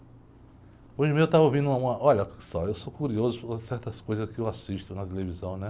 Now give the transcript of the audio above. Hoje mesmo eu estava ouvindo uma, uma... Olha só, eu sou curioso por certas coisas que eu assisto na televisão, né?